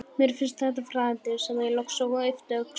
Mér finnst þetta fræðandi, sagði ég loks og yppti öxlum.